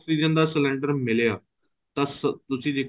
oxygen ਦਾ cylinder ਮਿਲਿਆਂ ਤਦ ਤੁਸੀਂ